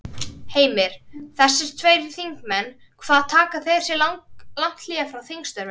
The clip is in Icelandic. Heimir: Þessir tveir þingmenn hvað taka þeir sér lang hlé frá þingstörfum?